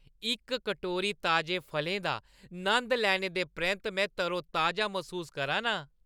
इक कटोरा ताजे फलें दा नंद लैने परैंत्त में तरोताजा मसूस करा ना आं।